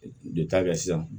De ta kɛ sisan